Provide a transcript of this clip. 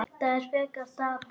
Þetta er frekar dapurt.